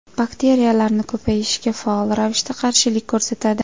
Bakteriyalarni ko‘payishga faol ravishda qarshilik ko‘rsatadi.